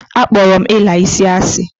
A kporo m ila isi asi.